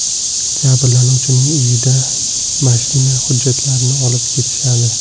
Jabrlanuvchining uyidan mashina hujjatlarini olib ketishadi.